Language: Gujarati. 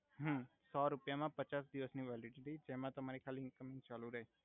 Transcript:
હુ સો રુપિયા મા પચાસ દિવસની વેલિડિટી જેમા તમારે ખાલી ઇંકમિંગ ચાલુ રે